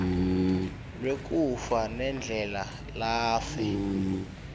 lwekufa nendlela lafe